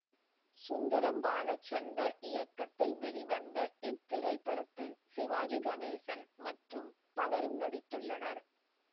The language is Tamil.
சுந்தரம் பாலச்சந்தர் இயக்கத்தில் வெளிவந்த இத்திரைப்படத்தில் சிவாஜி கணேசன் மற்றும் பலரும் நடித்துள்ளனர்